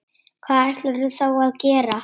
Hvað ætlarðu þá að gera?